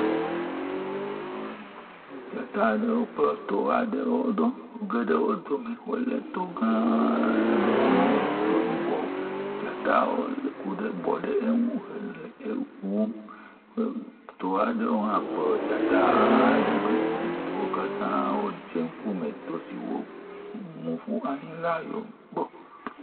Dzata aɖewo kplɔ to aɖewo ɖo wo geɖe wo dome. Wo le to gãa aɖe si nye to yibɔ. Dzatawo ku ɖe bɔ ɖe eŋu hele ewum he to aɖewo hã kplɔ dzata aɖe ɖo eye wo katã dze ŋkume to siwo mu ƒu anyi la gbɔ.